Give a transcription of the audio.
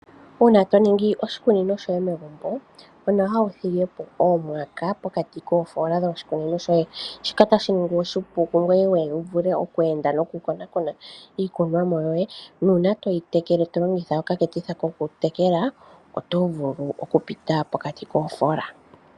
Uuna to ningi oshikunino shoye megumbo onawa wu thige po omwaka pokati koofoola dho shikunino shoye. Shika otashi ningi oshipu kungoye, wu vule oku enda ngoye wu konaakone iikunwamo yoye. Nuuna toyi tekele to longitha okaketitha kokutekela, oto vulu okupita pokati koofoola.